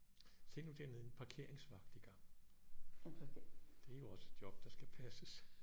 Se nu dernede en parkeringsvagt i gang det er jo også et job der skal passes